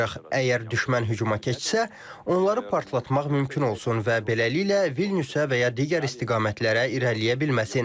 Əgər düşmən hücuma keçsə, onları partlatmaq mümkün olsun və beləliklə Vilniusə və ya digər istiqamətlərə irəliləyə bilməsin.